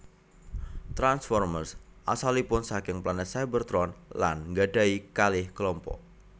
Transformers asalipun saking planet Cybertron lan nggadhahi kalih klompok